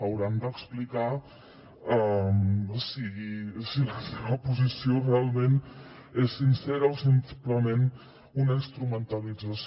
hauran d’explicar si la seva posició realment és sincera o simplement una instrumentalització